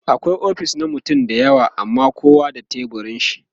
akwai ofis na mutane da yawa amma kowa da teburin shi